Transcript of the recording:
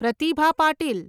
Pratibha Patil